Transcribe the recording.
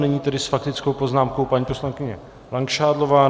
Nyní tedy s faktickou poznámkou paní poslankyně Langšádlová.